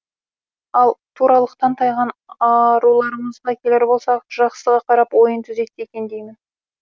ал туралықтан тайған аруларымызға келер болсақ жақсыға қарап ойын түзетсе екен деймін